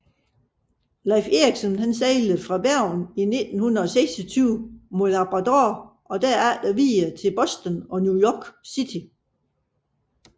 Leif Erikson sejlede fra Bergen i 1926 mod Labrador og derefter videre til Boston og New York City